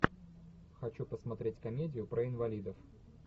хочу посмотреть комедию про инвалидов